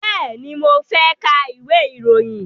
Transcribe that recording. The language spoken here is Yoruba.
Bẹ́ẹ̀ni, mo fẹ́ ka ìwé ìròyìn.